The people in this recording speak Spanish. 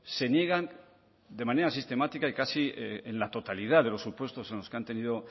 se niegan de manera sistemática y casi en la totalidad de los supuestos en los que han tenido